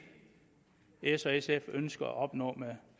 s og sf ønsker at opnå med en